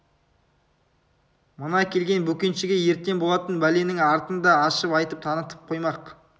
мына келген бөкеншіге ертең болатын бәленің артын да ашып айтып танытып қоймақ